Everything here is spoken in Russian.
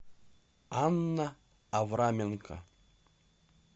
анна авраменко